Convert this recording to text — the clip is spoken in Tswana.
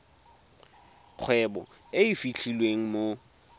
kgwebo e e fitlhelwang mo